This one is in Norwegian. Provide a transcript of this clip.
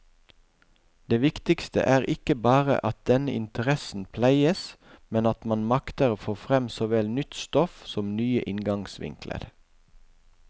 Det viktige er ikke bare at denne interessen pleies, men at man makter få frem såvel nytt stoff som nye inngangsvinkler.